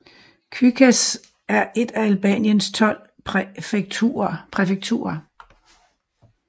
Kukës er et af Albaniens tolv præfekturer